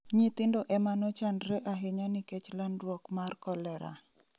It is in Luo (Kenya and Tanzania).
nyithindo emanochandre ahinya nikech landruok mar koleraa